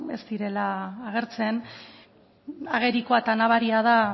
ez direla agertzen agerikoa eta nabaria da